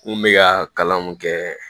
N kun be ka kalan mun kɛ